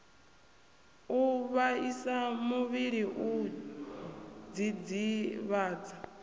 u vhaisa muvhili u dzidzivhadza